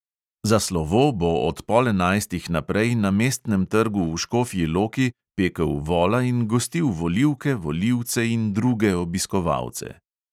Za slovo bo od pol enajstih naprej na mestnem trgu v škofji loki pekel vola in gostil volivke, volivce in druge obiskovalce.